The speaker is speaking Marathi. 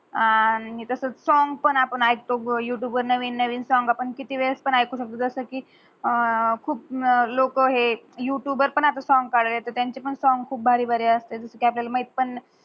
आणि तस सॉंग पण आपण ऎकतो युटूब वर नवीन नवीन सॉंग आपण किती वेळ पण ऐकु शकतो. खूप लोक हे युटूब पण असच सॉंग काडालाय्त त्यांचे पण सॉंग खूप भारी भारी अस्तात काढलेलं माहिती पण